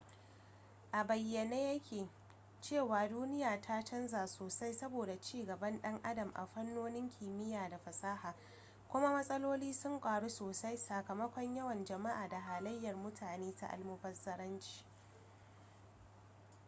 a bayyane ya ke cewa duniya ta canza sosai saboda ci gaban dan adam a fannonin kimiyya da fasaha kuma matsaloli sun karu sosai sakamakon yawan jama'a da halayyar mutane ta almubazzaranci